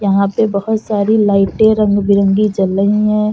यहाँ पे बहोत सारी लाइटें रंग बिरंगी जल रही हैं।